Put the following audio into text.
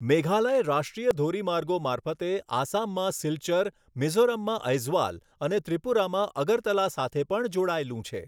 મેઘાલય રાષ્ટ્રીય ધોરીમાર્ગો મારફતે આસામમાં સિલ્ચર, મિઝોરમમાં ઐઝવાલ અને ત્રિપુરામાં અગરતલા સાથે પણ જોડાયેલું છે.